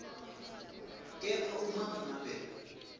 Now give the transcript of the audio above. kepha uma ngabe